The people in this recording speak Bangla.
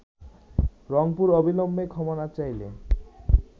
রংপুর অবিলম্বে ক্ষমা না চাইলে